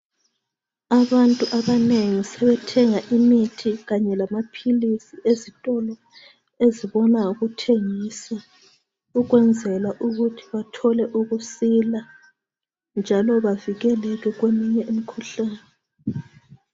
Abantu abanengi sebethenga imithi kanye lamaphilisi ezitolo ezibona ngokuthengisa ukwenzela ukuthi bathole ukusila njalo bavikeleke kweminye imkhuhlane .